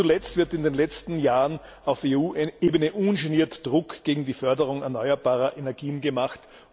Nicht zuletzt wird in den letzten Jahren auf EU Ebene ungeniert Druck gegen die Förderung erneuerbarer Energien gemacht.